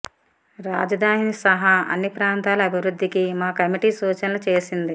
రాజధాని సహా అన్ని ప్రాంతాల అభివృద్ధికి మా కమిటీ సూచనలు చేసింది